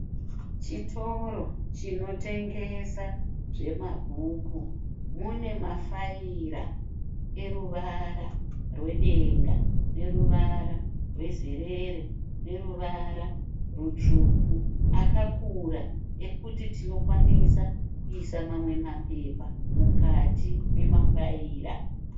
Chitoro chinotengesa zvemabhuku. Mune mafaira eruvara rwedenga neruvara rwezerere neruvara rutsvuku. Akakura ekuti tinokwanisa kuisa mamwe mapepa mukati memafaira.